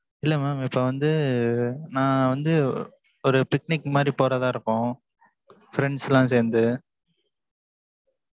இல்ல mam இப்ப வந்து, நான் வந்து, ஒரு picnic மாரி போறதா இருக்கோம் friends லாம் சேர்ந்து